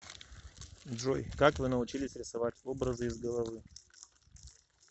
джой как вы научились рисовать образы из головы